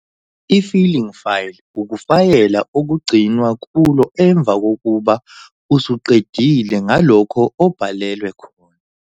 I-FILING file ukufayela okugcinwa kulo emva kokuba usuqedile ngalokho obhalelwe khona.